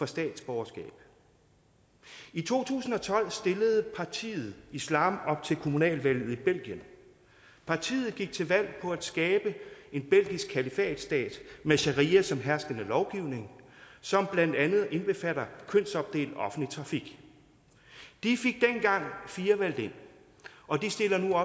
statsborgerskab i to tusind og tolv stillede partiet islam op til kommunalvalget i belgien partiet gik til valg på at skabe en belgisk kalifatstat med sharia som herskende lovgivning som blandt andet indbefatter kønsopdelt offentlig trafik de fik dengang fire valgt ind og de stiller nu